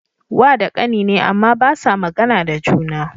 Wa da kani ne, Amma basa magAna da juna